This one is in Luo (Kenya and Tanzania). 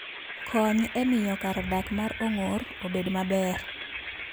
Kony e miyo kar dak mar ong'or obed maber